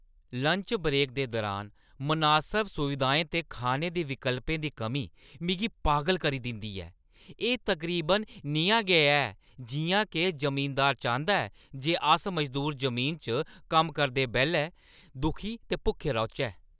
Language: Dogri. लंच ब्रेक दे दुरान मनासब सुविधाएं ते खाने दे विकल्पें दी कमी मिगी पागल करी दिंदी ऐ। एह् तकरीबन नेहा गै ऐ जिʼयां के जमींदार चांह्‌दा ऐ जे अस मजदूर जमीना च कम्म करदे बेल्लै दुखी ते भुक्खे रौह्‌चै।